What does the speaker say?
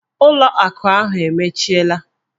ụlọ akụ ahụ emechiela!